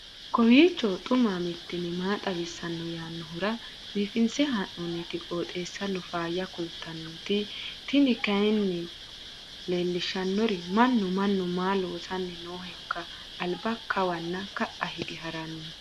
kowiicho xuma mtini maa xawissanno yaannohura biifinse haa'noonniti qooxeessano faayya kultanno tini kayi leellishshannori mannu mannu maa loosanni noohoiika alba kawanna ka'a hige haranni